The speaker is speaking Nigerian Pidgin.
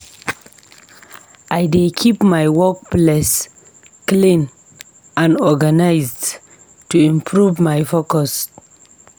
I dey keep my workspace clean and organized to improve my focus.